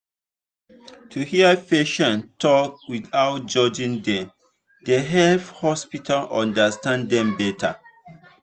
to hear patients talk without judging dem dey help hospital understand dem better.